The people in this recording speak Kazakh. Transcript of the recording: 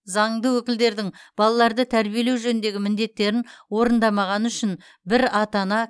заңды өкілдердің балаларды тәрбиелеу жөніндегі міндеттерін орындамағаны үшін бір ата ана